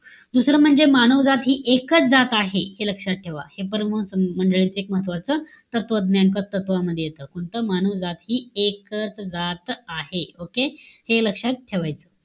दुसरं म्हणजे, मानवजात हि एकच जात आहे. हे लक्षात ठेवा. हे परमहंस मंडळीच एक महत्वाचं तत्वज्ञान क तत्वज्ञान मध्ये येत. कोणतं? मानवजात हि एकच जात आहे. Okay? हे लक्षात ठेवायचं.